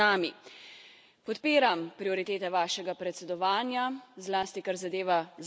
Podpiram prioritete vašega predsedovanja, zlasti kar zadeva Zahodni Balkan.